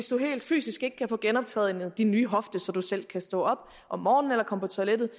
du helt fysisk ikke kan få genoptrænet din nye hofte så du selv kan stå op om morgenen eller komme på toilettet